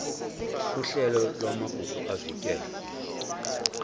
uhlelo lwamagugu avikelwe